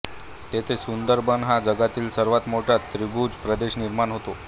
तेथे सुंदरबन हा जगातील सर्वात मोठा त्रिभुज प्रदेश निर्माण होतो